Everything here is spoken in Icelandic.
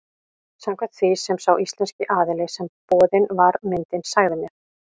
Samkvæmt því sem sá íslenski aðili sem boðin var myndin sagði mér.